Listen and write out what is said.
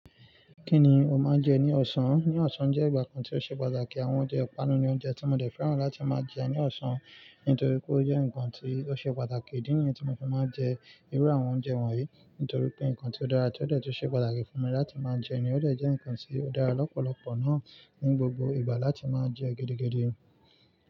Kí ni o máa ń jẹ ní ọ̀sán? Ní ọ̀sán jẹ́ ìgbà kan tí ó ṣe pàtàkì, àwọn oúnjẹ ìpanu ni oúnjẹ tí mo dẹ́fẹ̀ràn láti máa jẹ́ ní ọ̀sán nítorí pé ó jẹ́ nǹkan tí ó ṣe pàtàkì. Ìdí nìyẹn tí mo fi máa ń jẹ irú àwọn oúnjẹ wọ̀nyí. Nítorí pé nǹkan tí ó dára tí ó dẹ́ tùn ṣe pàtàkì fún mi láti máa jẹ́ ni ó dé jẹ́ nǹkan tí ó dára lọ́pọ̀lọpọ̀ náà ní gbogbo ìgbà láti máa jẹ́ gidigidi.